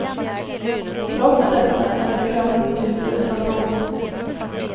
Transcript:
Trots detta är det skrämmande tyst i dessa frågor.